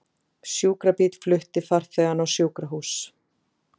Sjúkrabíll flutti farþegann á sjúkrahús